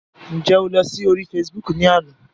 Ǹjẹ́ o lọ sí orí Facebook ni àná?